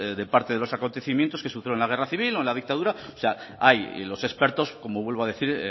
de parte de los acontecimientos que sucedieron en la guerra civil o en la dictadura hay los expertos como vuelvo a decir